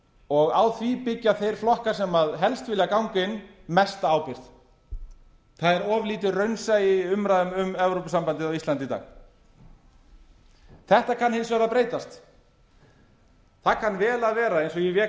og á því byggja þeir flokkar sem helst vilja ganga inn mesta ábyrgð það er of lítið raunsæi í umræðum um evrópusambandið á íslandi í dag þetta kann hins vegar að breytast það kann vel að vera eins og ég vék að